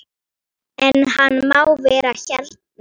En hann má vera hérna.